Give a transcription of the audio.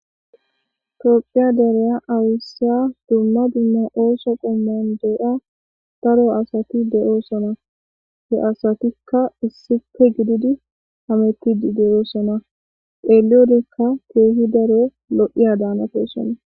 Tophiya dere aysiya bolla dumma dumma oso qommon daro asati de'ossona he asatika issippe gididi hametidi de'ossona xeliyodekka kehi daaro lo'ossona.